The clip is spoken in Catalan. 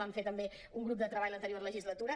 vam fer també un grup de treball l’anterior legislatura